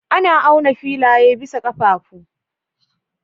Ana auna filaye bisa ƙafafu.